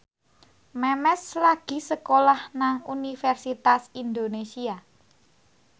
Memes lagi sekolah nang Universitas Indonesia